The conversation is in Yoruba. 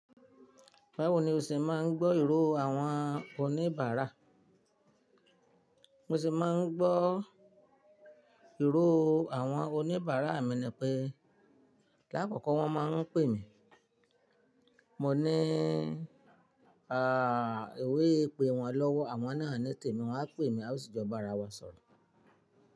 Báwo ni o ṣe máa ń gbọ́ ìró àwọn oníbàárà? Mo ṣì máa ń gbọ́ ìró àwọn oníbàárà, míni pé láàkọ́kọ́ wọ́n máa ń pè mí. Mọ ní, "à, èwe pé wọn lọ́wọ́." Àwọn náà ni tèmi, wọ́n á pè mí, a ó sì jọ bára wa sọ̀rọ̀